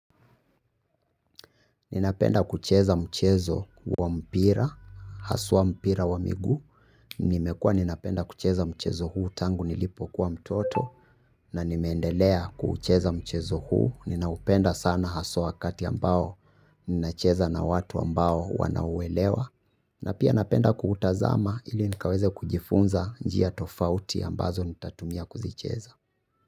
Ninapenda kucheza mchezo wa mpira, haswa mpira wa migu, nimekua ninapenda kucheza mchezo huu tangu nilipo kwa mtoto, na nimendelea kucheza mchezo huu, ninaupenda sana haswa kati ambao ninacheza na watu ambao wanauelewa, na pia napenda kuutazama ili nikaweze kujifunza njia tofauti ambazo nitatumia kuzicheza.